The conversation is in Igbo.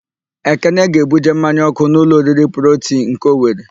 Ekene ga-ebuje mmanya ọ́kụ́ n'ụlọ oriri Protii nke Owere.